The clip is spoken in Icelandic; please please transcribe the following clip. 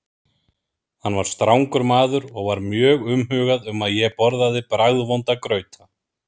Hann var strangur maður og var mjög umhugað um að ég borðaði bragðvonda grauta.